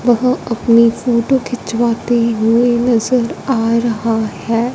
वह अपनी फोटो खिंचवाते हुए नजर आ रहा है।